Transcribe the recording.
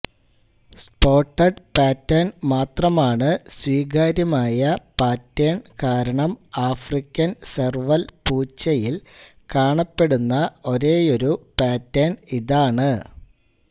spotted pattern മാത്രമാണ് സ്വീകാര്യമായ pattern കാരണം ആഫ്രിക്കൻ സെർവൽ പൂച്ചയിൽ കാണപ്പെടുന്ന ഒരേയൊരു പാറ്റേൺ ഇതാണ്